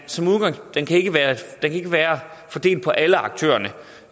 være fordelt på alle aktørerne